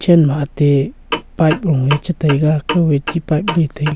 man ma ate pipe low a chi taiga kaw a chi pipe le taiga--